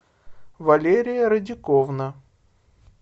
валерия радиковна